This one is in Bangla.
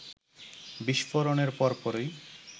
বিস্ফোরণের পরপরই